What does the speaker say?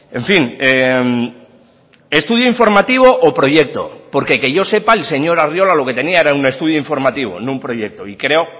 en fin estudio informativo o proyecto porque que yo sepa el señor arriola lo que tenía era un estudio informativo no un proyecto y creo